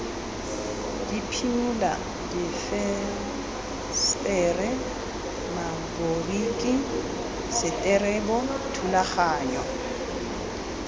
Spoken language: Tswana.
diphimola difensetere maboriki seterebo thulaganyo